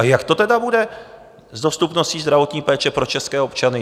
A jak to tedy bude s dostupností zdravotní péče pro české občany?